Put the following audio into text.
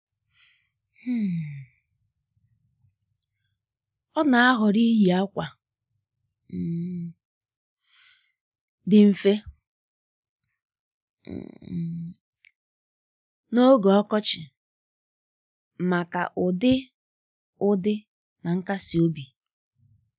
um Ọ́ nà-àhọ́rọ́ iyi ákwà um dị mfe um n’ógè ọkọchị màkà ụ́dị́ ụ́dị́ na nkasi obi.